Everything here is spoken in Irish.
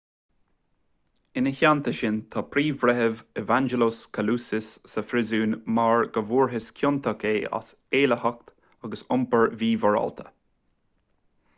ina theannta sin tá príomhbhreitheamh evangelos kalousis sa phríosún mar go bhfuarthas ciontach é as éillitheacht agus iompar mímhorálta